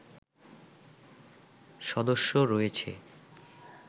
সদস্য রয়েছে